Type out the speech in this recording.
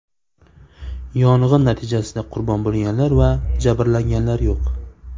Yong‘in natijasida qurbon bo‘lganlar va jabrlanganlar yo‘q.